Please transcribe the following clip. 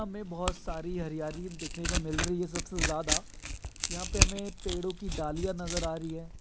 हमें बोहोत साड़ी हरियाली देखने को मिल रही हैं। सबसे ज्याद यहाँ पे हमें पेड़ो की डालिये नजर आ रही हैं।